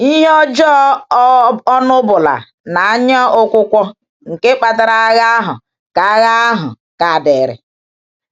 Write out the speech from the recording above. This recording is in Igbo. Ị́hè-ọ́jọọ́, um ọ́ṅụ́bụ́nà na anyaụ̀kwụ̀kwọ̀ nke um kpatara agha ahụ ka agha ahụ ka dịrị.